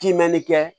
Kimɛni kɛ